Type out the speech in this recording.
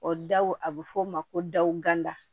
O daw a bɛ fɔ o ma ko daw ganda